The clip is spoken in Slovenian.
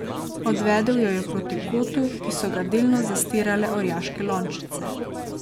Odvedel jo je proti kotu, ki so ga delno zastirale orjaške lončnice.